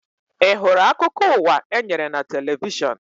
Ị hụrụ akụkọ ụwa e nyere na televishọn?